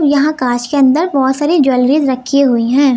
यहां कांच के अंदर बहोत सारी ज्वेलरीस रखी हुई है।